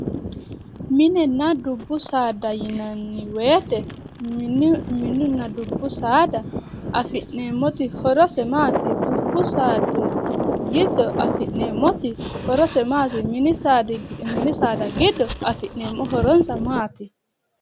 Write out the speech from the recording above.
Minenna dubbu saada yinanni woyte mininna dubbu saada afi'neemmoti horose maati dubbu saada giddo afi'neemmoti horose maati? Mini saada giddo afi'neemmoti horonsa maati?